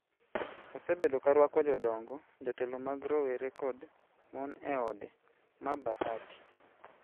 osebedo ka rwako jodongo, jotelo mag rowere kod mon e ode ma Bahati